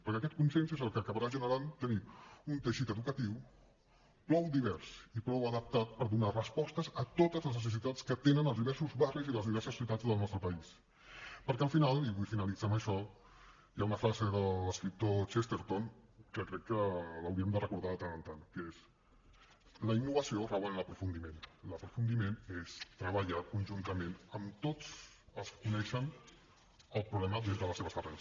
perquè aquest consens és el que acabarà generant tenir un teixit educatiu prou divers i prou adaptat per donar respostes a totes del nostre país perquè al final i vull finalitzar amb això hi ha una frase de l’escriptor chesterton que crec que l’hauríem de recordar de tant en tant que és la innovació rau en l’aprofundiment i l’aprofundiment és treballar conjuntament amb tots els que coneixen el problema des de les seves arrels